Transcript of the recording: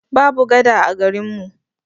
Babu gada a garin mu.